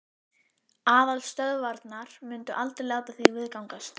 Aðalstöðvarnar myndu aldrei láta það viðgangast.